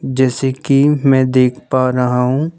जैसे कि मैं देख पा रहा हूँ।